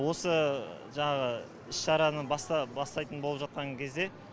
осы жаңағы іс шараны бастайтын болып жатқан кезде